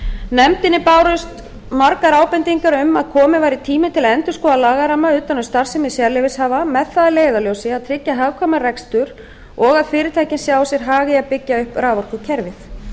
nefndinni bárust margar ábendingar um að kominn væri tími til að endurskoða lagaramma utan um starfsemi sérleyfishafa með það að leiðarljósi að tryggja hagkvæman rekstur og að fyrirtækin sjái sér hag í að byggja upp raforkukerfið